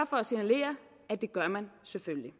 for at signalere at det gør man selvfølgelig